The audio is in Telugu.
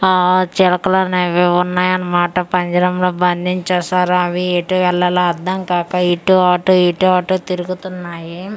ఆఆ చిలకలనేవీ ఉన్నాయనమాట పంజరంలో బంధించెశారు అవి ఎటు వెళ్లాలో అర్దం కాక ఇటు అటు ఇటు అటు తిరుగుతున్నాయి .